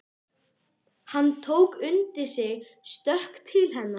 Hann tók undir sig stökk til hennar.